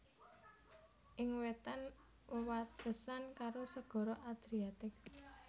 Ing wétan wewatesan karo Segara Adriatik